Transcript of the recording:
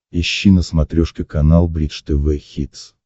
ищи на смотрешке канал бридж тв хитс